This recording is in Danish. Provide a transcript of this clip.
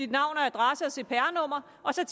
navn og adresse og cpr nummer og så